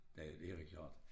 Ja det er da klart